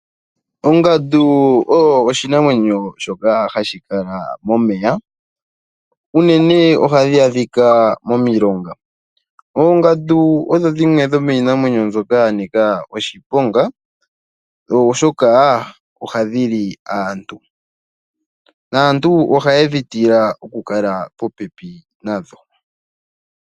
Ongandu oyo oshinamwenyo shoka hashi kala momeya unene ohadhi adhika momilonga. Oongandu odho dhimwe dho miinamwenyo mbyoka ya nika oshiponga oshoka oha dhi li aantu, naantu ohaya tila okukala popepi nadho.